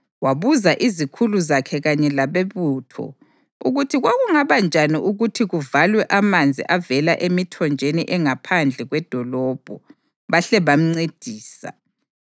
wabuza izikhulu zakhe kanye labebutho ukuthi kwakungaba njani ukuthi kuvalwe amanzi avela emithonjeni engaphandle kwedolobho, bahle bamncedisa.